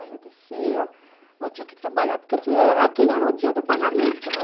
Aí eu descia, mas eu tinha que trabalhar, porque aquele era o dia do pagamento, né?